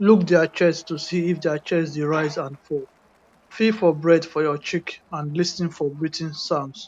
look dia chest to see if dia chest dey rise and fall feel for breath for your cheek and lis ten for breathing sounds